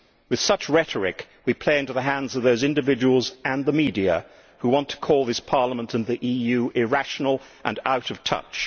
With such rhetoric we play into the hands of those individuals and the media who want to call this Parliament and the EU irrational and out of touch.